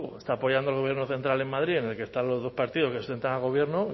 está apoyando al gobierno central en madrid en el que están los dos partidos que sustentan al gobierno